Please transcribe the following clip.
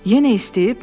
Yenə istəyib?